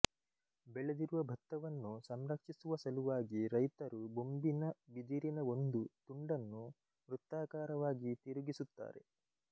ಬೆಳೆದಿರುವ ಭತ್ತವನ್ನು ಸಂರಕ್ಷಿಸುವ ಸಲುವಾಗಿ ರೈತರು ಬೊಂಬಿನ ಬಿದಿರಿನ ಒಂದು ತುಂಡನ್ನು ವೃತ್ತಾಕಾರವಾಗಿ ತಿರುಗಿಸುತ್ತಾರೆ